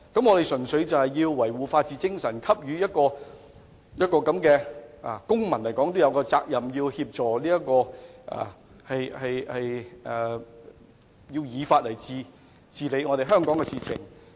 我們應該從維護法治精神和履行公民責任的角度提供協助，亦希望依法處理香港的事務。